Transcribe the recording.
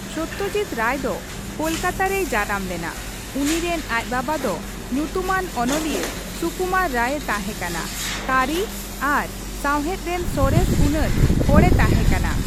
ᱥᱚᱛᱛᱚᱡᱤᱛ ᱨᱟᱭ ᱫᱚ ᱠᱳᱞᱠᱟᱛᱟ ᱨᱮᱭ ᱡᱟᱱᱟᱢ ᱞᱮᱱᱟ, ᱩᱱᱤ ᱨᱮᱱ ᱟᱡ ᱵᱟᱵᱟ ᱫᱚ ᱧᱩᱛᱩᱢᱟᱱ ᱚᱱᱚᱞᱤᱭᱟᱹ ᱥᱩᱠᱩᱢᱟᱨ ᱨᱟᱭᱮ ᱛᱟᱦᱮᱸᱠᱟᱱᱟ ᱠᱟᱹᱨᱤ ᱟᱨ ᱥᱟᱶᱦᱮᱫ ᱨᱮᱱ ᱥᱚᱨᱮᱥ ᱜᱩᱱᱟᱱ ᱦᱚᱲᱮ ᱛᱟᱦᱮᱸᱠᱟᱱᱟ ᱾